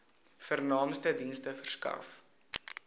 vernaamste dienste verskaf